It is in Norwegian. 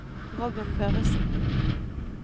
Robin Børresen